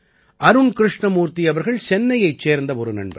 அருண் கிருஷ்ணமூர்த்தி அவர்கள் சென்னையைச் சேர்ந்த ஒரு நண்பர்